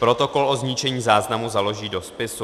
Protokol o zničení záznamu založí do spisu.